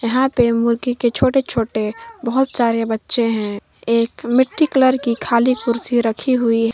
यहां पे मुर्गी के छोटे छोटे बहुत सारे बच्चे हैं एक मिट्टी कलर की खाली कुर्सी रखी हुई है।